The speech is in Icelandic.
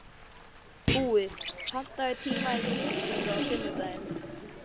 Búi, pantaðu tíma í klippingu á sunnudaginn.